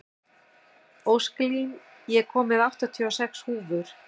Ósklín, ég kom með áttatíu og sex húfur!